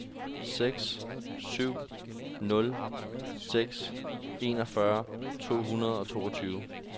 seks syv nul seks enogfyrre to hundrede og toogtyve